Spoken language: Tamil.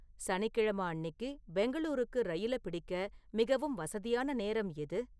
சனிக்கிழமை அன்னிக்கு பெங்களூருக்கு ரயிலைப் பிடிக்க மிகவும் வசதியான நேரம் எது?